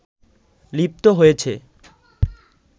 লিপ্ত হয়েছে